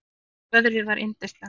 Veðrið var yndislegt.